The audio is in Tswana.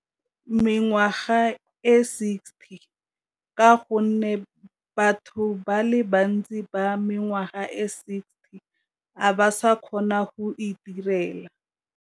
Mengwaga e sixty ka gonne batho ba le bantsi ba mengwaga e sixty a ba sa kgona go itirela.